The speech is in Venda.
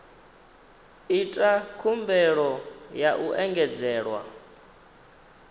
ita khumbelo ya u engedzelwa